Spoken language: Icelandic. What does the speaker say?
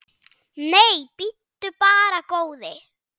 Nei, bíddu bara, góði.